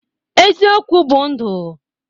Eziokwu bụ ndụ.